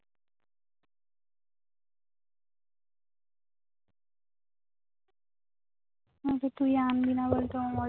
হয়তো তুই আনবিনা বলতে